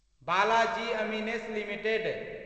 Balaji amines limited